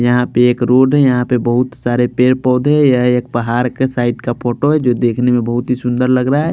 यहाँ पे एक रोड है यहाँ पे बहुत सारे पेड़ पौधे हैं यह एक पहाड़ के साइड का फोटो है जो देखने में बहुत ही सुन्दर लग रहा है।